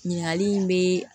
Ɲininkali in bɛ